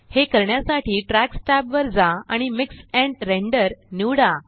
हे करण्यासाठी tracks tab वर जा आणि मिक्स एंड रेंडर निवडा